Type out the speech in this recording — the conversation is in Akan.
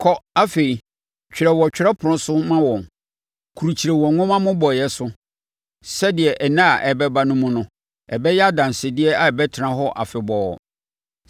Kɔ afei, twerɛ wɔ twerɛpono so ma wɔn krukyire wɔ nwoma mmobɔeɛ so sɛdeɛ nna a ɛreba no mu no ɛbɛyɛ adansedeɛ a ɛbɛtena hɔ afebɔɔ.